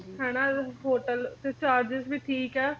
ਹਨਾਂ hotel ਤੇ charges ਵੀ ਠੀਕ ਐ